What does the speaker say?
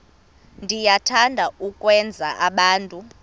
niyathanda ukwenza abantu